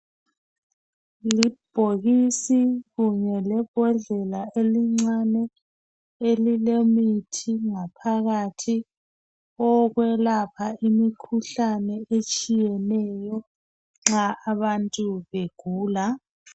Libhokisi kunye lebhodlela elincane elilemithi ngaphakathi eyokwelapha imikhuhlane etshiyeneyo nxa abantu begula